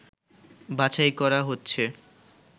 বাছাই করা হচ্ছে